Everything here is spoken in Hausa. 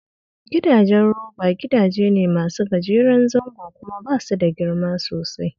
Gidajen roba gidaje ne masu gajeren zango kuma ba su da girma sosai